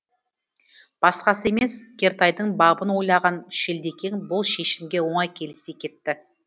басқасы емес кертайдың бабын ойлаған шілдекең бұл шешімге оңай келісе кетті